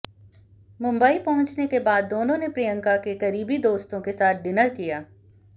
मुंबई पहुंचने के बाद दोनों ने प्रियंका के करीबी दोस्तों के साथ डिनर किया